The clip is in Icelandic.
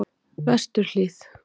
Vesturhlíð